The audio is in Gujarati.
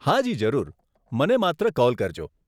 હાજી, જરૂર, મને માત્ર કોલ કરજો.